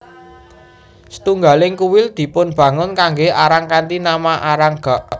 Setunggaling kuil dipunbangun kanggé Arang kanthi nama Arang gak